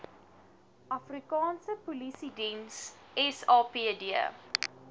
afrikaanse polisiediens sapd